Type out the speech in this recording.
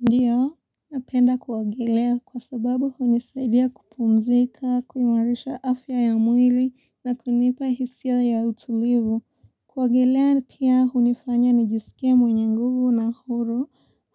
Ndiyo, napenda kuogelea kwa sababu hunisaidia kupumzika, kuimarisha afya ya mwili na kunipa hisia ya utulivu. Kuogelea pia hunifanya nijisikie mwenye nguvu na huru